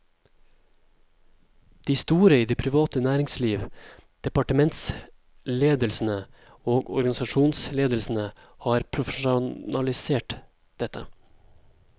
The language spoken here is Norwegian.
De store i det private næringsliv, departementsledelsene og organisasjonsledelsene har profesjonalisert dette.